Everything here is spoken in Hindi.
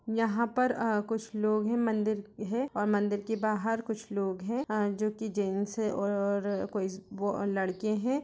यहाँ पर कुछ लोग है मंदिर है और मंदिर के बाहर कुछ लोग हैं जो कि जेंट्स है और और कोई लड़के हैं।